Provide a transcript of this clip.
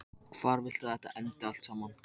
Hvar viltu að þetta endi allt saman?